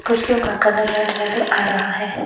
कुर्सियों का colour red नज़र आ रहा है।